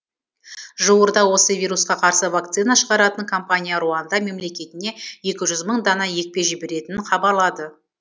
жуырда осы вирусқа қарсы вакцина шығаратын компания руанда мемлекетіне екі жүз мың дана екпе жіберетінін хабарлады